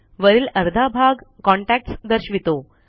वरील अर्धा भाग कॉन्टॅक्ट्स दर्शवितो